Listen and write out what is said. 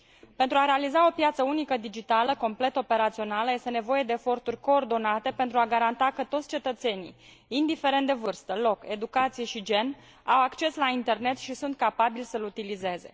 Pentru a realiza o piață unică digitală complet operațională, este nevoie de eforturi coordonate pentru a garanta că toți cetățenii, indiferent de vârstă, loc, educație și gen, au acces la internet și sunt capabili să l utilizeze.